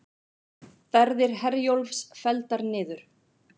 Ferðir Herjólfs felldar niður